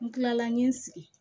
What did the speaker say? N kilala n ye n sigi